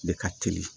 Ne ka teli